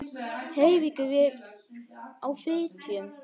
Eiríkur á Fitjum.